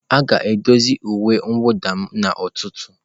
A ga-edozi uwe mwụda m n'ụtụtụ.